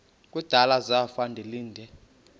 kudala zafa ndilinde